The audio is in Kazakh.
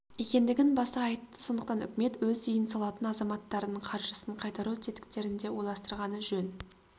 екендігін баса айтты сондықтан үкімет өз үйін салатын азаматтардың қаржысын қайтару тетіктерін де ойластырғаны жөн